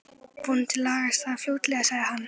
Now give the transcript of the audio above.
Vonandi lagast það fljótlega sagði hann.